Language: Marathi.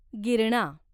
गिरणा